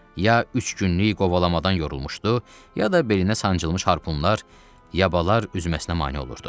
Ya üç günlük qovalamadan yorulmuşdu, ya da belinə sancılmış harpunlar, yabaalar üzməsinə mane olurdu.